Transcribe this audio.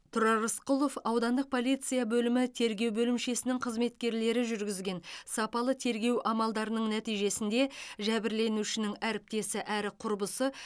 тұрар рысқұлов аудандық полиция бөлімі тергеу бөлімшесінің қызметкерлері жүргізген сапалы тергеу амалдарының нәтижесінде жәбірленушінің әріптесі әрі құрбысы